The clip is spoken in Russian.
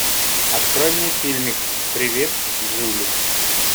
открой мне фильмик привет джули